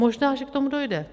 Možná že k tomu dojde.